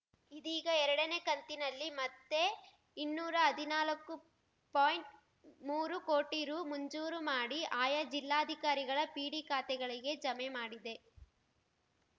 ಇದೀಗ ಎರಡನೇ ಕಂತಿನಲ್ಲಿ ಮತ್ತೆ ಇನ್ನೂರಾ ಹದಿನಾಲ್ಕು ಪಾಯಿಂಟ್ಮೂರು ಕೋಟಿ ರು ಮಂಜೂರು ಮಾಡಿ ಆಯಾ ಜಿಲ್ಲಾಧಿಕಾರಿಗಳ ಪಿಡಿ ಖಾತೆಗಳಿಗೆ ಜಮೆ ಮಾಡಿದೆ